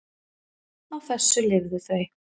Á þessu lifðu þau.